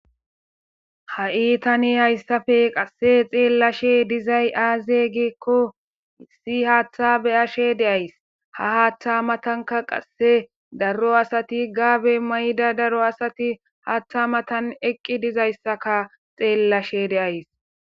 ha'i tani hayssafe qasse xeellashe dizay aaze giekko issi haaththa beyashe de'ays ha haattha matanka qasse daro asati gaabe mayda daro asati haaththa matan eqqi dizayssaka xeellashe de'ays